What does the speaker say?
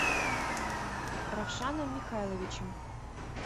равшаном михайловичем